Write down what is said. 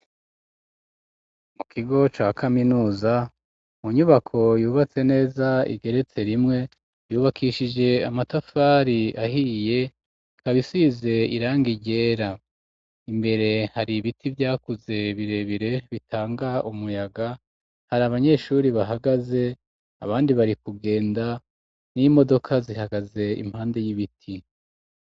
Mu kigo ca kaminuza mu nyubako yubatse neza igeretse rimwe, yubakishije amatafari ahiye kabisize irang ryera, imbere hari ibiti vyakuze birebire bitanga umuyaga, hari abanyeshuri bahagaze abandi bari kugenda n'imodoka zihagaze impande y'ibiti.